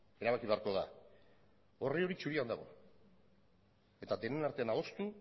erabaki beharko da orri hori zurian dago eta denon artean adostu